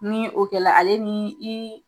Ni o kɛra ale ni i